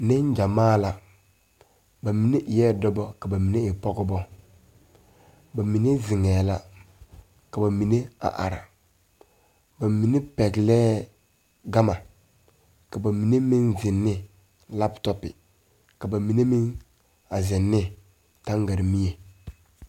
Niŋgyamaa la ba mine eɛɛ dɔba ka mine e pɔgeba ba mine ziŋɛɛ la ka ba mine a are ba mine pɛglɛɛ gama ka ba mine meŋ ziŋ ne laptɔpi ka na mine meŋ a ziŋ ne taŋgaremie.